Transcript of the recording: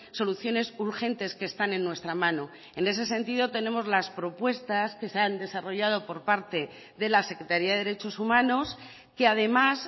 soluciones urgentes que están en nuestra mano en ese sentido tenemos las propuestas que se han desarrollado por parte de la secretaría de derechos humanos que además